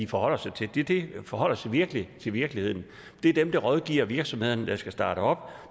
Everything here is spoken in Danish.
forholder sig til det det forholder sig virkelig til virkeligheden det er dem der rådgiver de virksomheder der skal starte op og